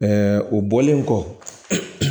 o bɔlen kɔ